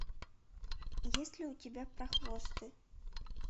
есть ли у тебя прохвосты